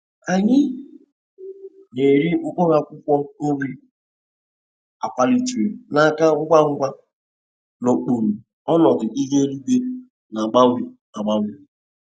Anyị na-ere mkpụrụ akwụkwọ nri a kwalitere na-aka ngwa ngwa n'okpuru ọnọdụ ihu eluigwe na-agbanwe agbanwe.